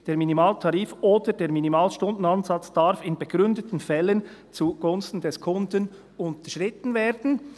«Der Minimaltarif oder der Minimalstundenansatz darf in begründeten Fällen zugunsten des Kunden unterschritten werden.